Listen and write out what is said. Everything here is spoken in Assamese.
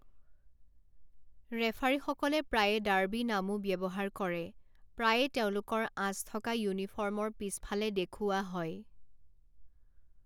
ৰেফাৰীসকলে প্ৰায়ে ডাৰ্বি নামও ব্যৱহাৰ কৰে, প্ৰায়ে তেওঁলোকৰ আঁচ থকা ইউনিফৰ্মৰ পিছফালে দেখুওৱা হয়।